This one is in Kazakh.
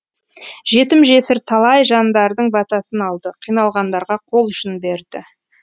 жетім жесір талай жандардың батасын алды қиналғандарға қол ұшын берді